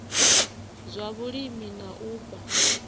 zwa vhulimi na u fha